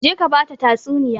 Je ka ba ta tatsuniya!